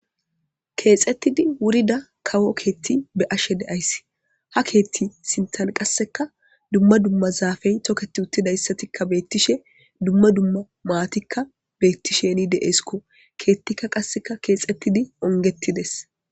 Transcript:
keexxettidi wurida kawo keethti be ashe be'ayss ha keethti sintan qasseka dumma dumma zaafey toketi uttidayssatikka beettishe dumma dumma maatikka beetti sheni deesko keettikka qasseka keexettidi ongetides